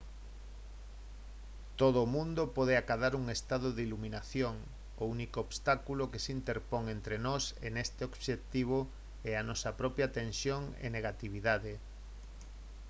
todo o mundo pode acadar un estado de iluminación o único obstáculo que se interpón entre nós e neste obxectivo é a nosa propia tensión e negatividade